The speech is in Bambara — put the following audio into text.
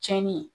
Cɛnni ye